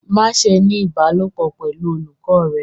Maṣe ni ibalopọ pẹlu olukọ rẹ